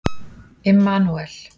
Immanúel